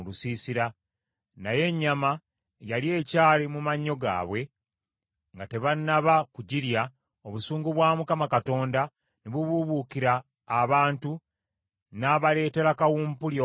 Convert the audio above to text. Naye ennyama yali ekyali mu mannyo gaabwe nga tebannaba kugirya, obusungu bwa Mukama Katonda ne bubuubuukira abantu n’abaleetera kawumpuli ow’amaanyi ennyo.